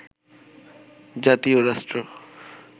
জাতি ও রাষ্ট্র